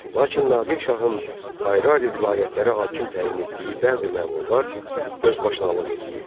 Lakin Nadir şahın ayrı-ayrı vilayətlərə hakim təyin etdiyi bəzi məmurlar özbaşınalıq edirdi.